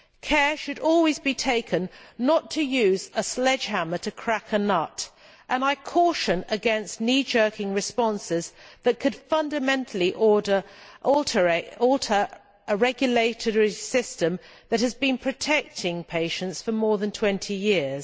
Care should always be taken not to use a sledgehammer to crack a nut and I caution against knee jerking responses that could fundamentally alter a regulatory system that has been protecting patients for more than 20 years.